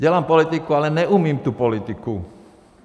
Dělám politiku, ale neumím tu politiku.